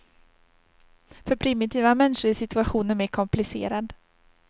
För primitiva människor är situationen mer komplicerad.